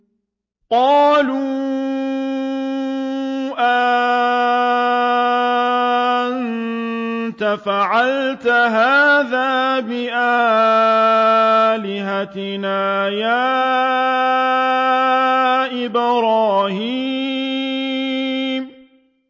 قَالُوا أَأَنتَ فَعَلْتَ هَٰذَا بِآلِهَتِنَا يَا إِبْرَاهِيمُ